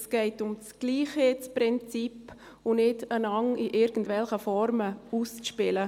Es geht um das Gleichheitsprinzip und nicht darum, einander in irgendwelchen Formen auszuspielen.